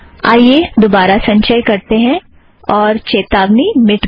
आइए दोबारा संचय करते हैं और चेतावनी मिट गई